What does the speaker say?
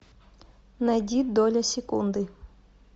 найди доля секунды